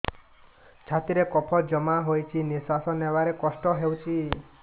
ଛାତିରେ କଫ ଜମା ହୋଇଛି ନିଶ୍ୱାସ ନେବାରେ କଷ୍ଟ ହେଉଛି